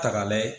Ta k'a layɛ